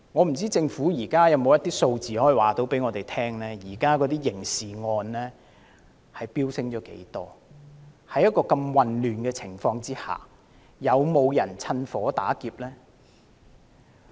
不知道政府可否告訴我們刑事罪案的數字飆升了多少，在這樣混亂的情況下又有沒有人趁火打劫？